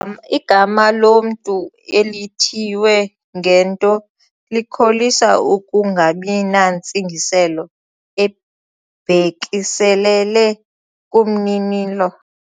Igama lomntu elithiywe ngento likholisa ukungabi nantsingiselo ebhekiselele kumninilo.